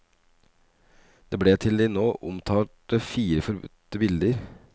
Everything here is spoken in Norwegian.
Det ble til de nå omtalte fire forbudte bilder.